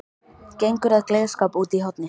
Gengur að glerskáp úti í horni.